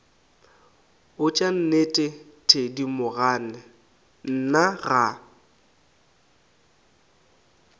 botša nnete thedimogane nna ga